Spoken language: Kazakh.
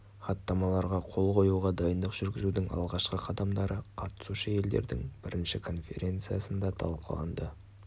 хаттамаларға қол қоюға дайындық жүргізудің алғашқы қадамдары қатысушы-елдердің бірінші конференциясында талқыланды